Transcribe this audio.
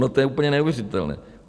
No to je úplně neuvěřitelné.